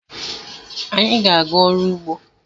Anyị ga-aga ọrụ ugbo